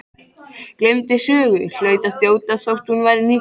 Gleymdi sögu, hlaut að þjóta þótt hún væri nýkomin frá